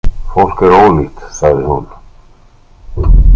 Fólk er ólíkt, sagði hún.